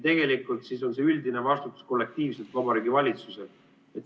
Tegelikult siis on see üldine vastutus kollektiivselt Vabariigi Valitsusel.